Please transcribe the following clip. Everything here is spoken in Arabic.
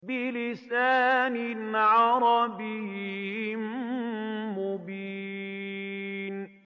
بِلِسَانٍ عَرَبِيٍّ مُّبِينٍ